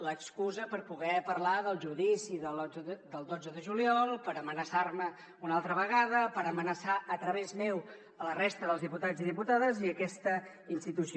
l’excusa per poder parlar del judici del dotze de juliol per amenaçar me una altra vegada per amenaçar a través meu la resta dels diputats i diputades i aquesta institució